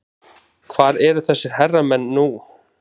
Hvar eru þessir herramenn nú?